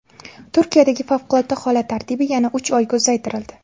Turkiyadagi favqulodda holat tartibi yana uch oyga uzaytirildi.